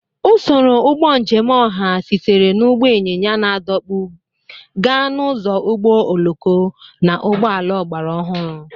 Usoro ụgbọ njem ọha sitere na ụgbọ ịnyịnya na-adọkpụ gaa n'ụzọ ụgbọ oloko na ụgbọ ala ọgbara ọhụrụ.